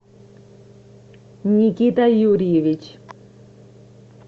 никита юрьевич